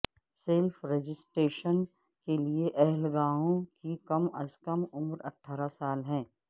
self registration کے لیے اہل گاہکوں کی کم از کم عمر اٹھارہ سال ہے